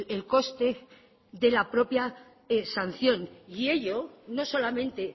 el coste de la propia sanción y ello no solamente